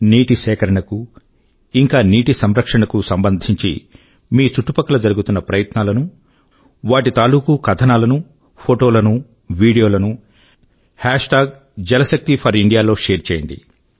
నీటి సేకరణ కు ఇంకా నీటి సంరక్షణ కు సంబంధించి మీ చుట్టుపక్కల జరుగుతున్న ప్రయత్నాల ను వాటి తాలూకూ కథనాల నూ ఫోటోల నూ వీడియోల నూ హేష్ ట్యాగ్ jalshakti4India లో షేర్ చేయండి